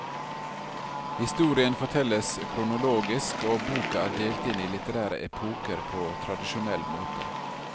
Historien fortelles kronologisk, og boka er delt inn i litterære epoker på tradisjonell måte.